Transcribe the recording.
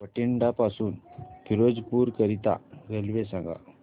बठिंडा पासून फिरोजपुर करीता रेल्वे सांगा